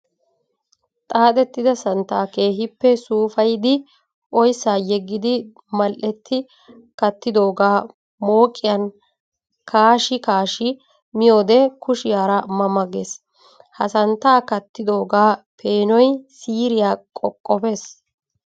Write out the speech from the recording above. Xaaxxetidda santta keehippe suufayiddi oyssa yegiddi mali'etti kattidooga mooqqiyan kaashshi kaashshi miyoode kushiyara ma ma geesi! Ha santta kattidooga peenoy siiriya qoqoppes.